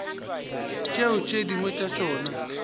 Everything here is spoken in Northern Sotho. tšeo tše dingwe tša tšona